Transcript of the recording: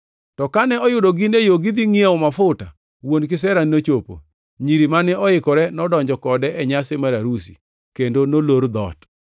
“To kane oyudo gin e yo gidhi ngʼiewo mafuta, wuon kisera nochopo. Nyiri mane oikore nodonjo kode e nyasi mar arus; kendo nolor dhoot.